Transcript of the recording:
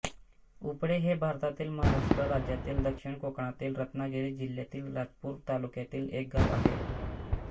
उपळे हे भारतातील महाराष्ट्र राज्यातील दक्षिण कोकणातील रत्नागिरी जिल्ह्यातील राजापूर तालुक्यातील एक गाव आहे